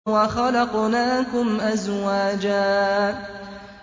وَخَلَقْنَاكُمْ أَزْوَاجًا